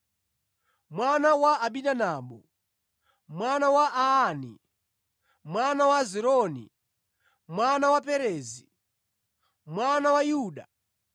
mwana wa Aminadabu, mwana wa Arni, mwana wa Hezronu, mwana wa Perezi, mwana wa Yuda,